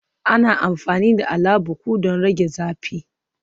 Ana amfani da Alabukun don rage zafi